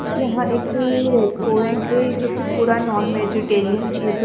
यहाँ एक रेस्टोरेंट है जोकि पूरा नॉन वेजिटेरियन चीज़ो --